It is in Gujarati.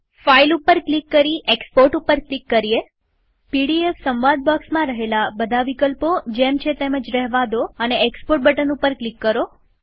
ફાઈલ ઉપર ક્લિક કરી એક્સપોર્ટ ઉપર ક્લિક કરીએપીડીએફ વિકલ્પ સંવાદ બોક્સમાં બધા વિકલ્પો જેમ છે તેમ જ રહેવા દઈએક્સપોર્ટ બટન ઉપર ક્લિક કરીએ